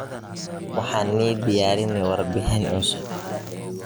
Waxan ni diyarine warbixin cusub.